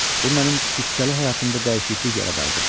Bu mənim qüssəli həyatımda dəyişiklik yaradardı.